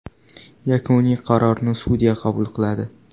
Yakuniy qarorni sudya qabul qiladi.